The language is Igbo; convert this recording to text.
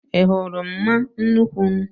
Ị hụrụmma nnuku m?